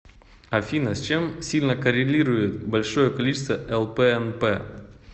афина с чем сильно коррелирует большое количество лпнп